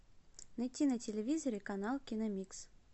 найти на телевизоре канал киномикс